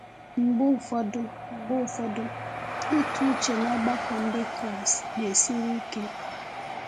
Mgbe ụfọdụ, Mgbe ụfọdụ, ịtụ uche n’ọgbakọ Ndị Kraịst na-esiri ike.